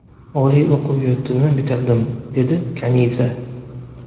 Oliy o‘quv yurtini bitirdim, – dedi Kaniza.